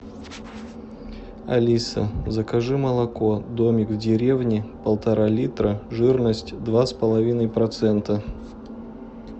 алиса закажи молоко домик в деревне полтора литра жирность два с половиной процента